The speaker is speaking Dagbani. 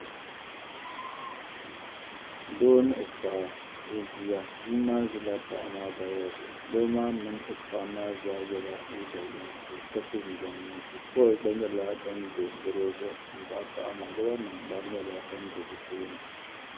Doo ni o paɣa ni o bia. Bia maa ʒila paɣa maa gbaya zuɣu doo maa mini o paɣa zaa yɛla liiga yinsi ka so jinjam yinsi. Toyi gba nyɛla din do gɔro zuɣu m-paɣi paɣa maa lobanima gba nyɛla din do be tooni.